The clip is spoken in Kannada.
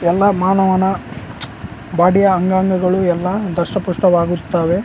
ಎಲ್ಲಾ ಮಾನವನ ಬಾಡಿ ಅಂಗಾಂಗಗಳು ಎಲ್ಲ ದಷ್ಟ ಪುಷ್ಟವಾಗಿರುತ್ತಾರೆ.